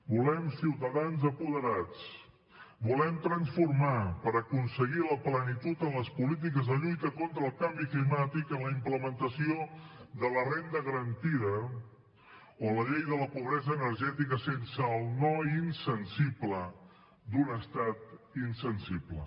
volem ciutadans apoderats volem transformar per aconseguir la plenitud en les polítiques de lluita contra el canvi climàtic en la implementació de la renda garantida o la llei de la pobresa energètica sense el no insensible d’un estat insensible